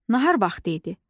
Nahar vaxtı idi.